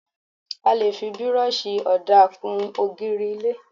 A lè fi Bírọ́ọ̀ṣì ọ̀dà kún ògiri ilé.